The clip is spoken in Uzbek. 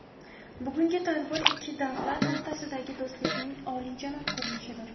Bugungi tadbir ikki davlat o‘rtasidagi do‘stlikning oliyjanob ko‘rinishidir.